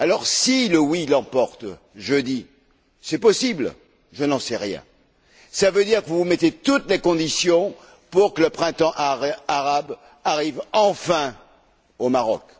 Si le oui l'emporte jeudi c'est possible, je n'en sais rien cela voudra dire que vous créez toutes les conditions pour que le printemps arabe arrive enfin au Maroc.